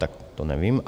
Tak to nevím.